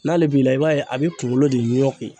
N'ale b'i la, i b'a ye a bɛ kunkolo de ɲɔki.